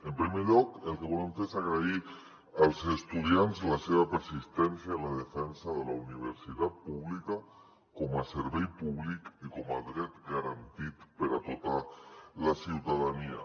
en primer lloc el que volem fer és agrair als estudiants la seva persistència en la defensa de la universitat pública com a servei públic i com a dret garantit per a tota la ciutadania